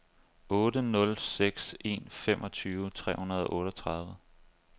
otte nul seks en femogtyve tre hundrede og otteogtredive